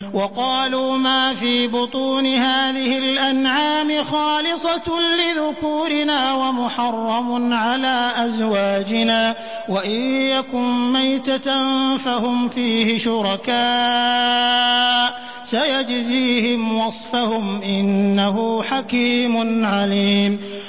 وَقَالُوا مَا فِي بُطُونِ هَٰذِهِ الْأَنْعَامِ خَالِصَةٌ لِّذُكُورِنَا وَمُحَرَّمٌ عَلَىٰ أَزْوَاجِنَا ۖ وَإِن يَكُن مَّيْتَةً فَهُمْ فِيهِ شُرَكَاءُ ۚ سَيَجْزِيهِمْ وَصْفَهُمْ ۚ إِنَّهُ حَكِيمٌ عَلِيمٌ